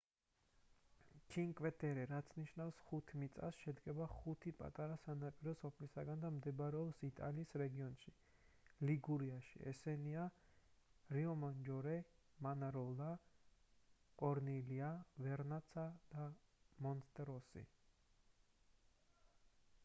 ჩინკვე ტერე რაც ნიშნავს ხუთ მიწას შედგება ხუთი პატარა სანაპირო სოფლისგან და მდებარეობს იტალიის რეგიონში ლიგურიაში ესენია რიომაჯორე მანაროლა კორნილია ვერნაცა და მონტეროსო